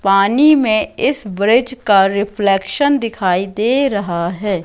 पानी में इस ब्रिज का रिफ्लेक्शन दिखाई दे रहा है।